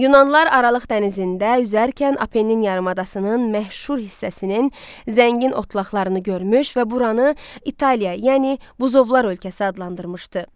Yunanlar Aralıq dənizində üzərkən Apennin yarımadasının məhşur hissəsinin zəngin otlaqlarını görmüş və buranı İtaliya, yəni Buzovlar ölkəsi adlandırmışdı.